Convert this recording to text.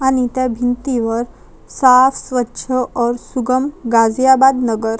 आणि त्या भिंतीवर साफ़ स्वच्छ और सुगम गाजियाबादनगर--